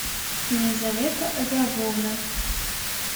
елизавета агавовна